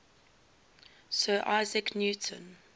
sir isaac newton